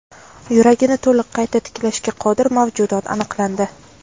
Yuragini to‘liq qayta tiklashga qodir mavjudot aniqlandi.